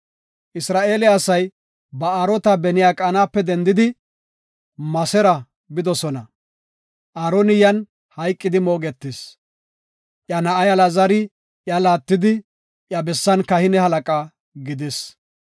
Isra7eele asay Ba7aarota Benyaqanape dendidi, Musera bidosona. Aaroni yan hayqidi moogetis; iya na7ay Alaazari iya laattidi, iya bessan kahine halaqa gidis.